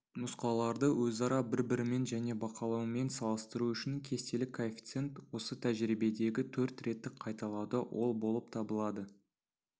нұсқаларды өзара бір-бірімен және бақылаумен салыстыру үшін кестелік коэффициент осы тәжірибедегі төрт реттік қайталауда ол болып табылады